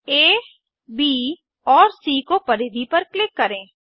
आ ब और सी को परिधि पर क्लिक करें